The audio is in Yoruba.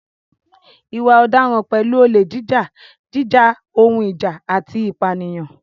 Ìwà ọ̀daràn pẹ̀lú olè jíjà, jíjà ohun ìjà, àti ìpànìyàn.